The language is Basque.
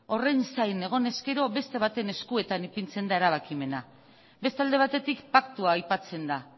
horren zain egonez gero beste baten eskuetan ipintzen da erabakimena beste alde batetik paktua aipatzen da